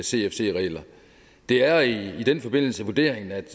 cfc regler det er i den forbindelse vurderingen at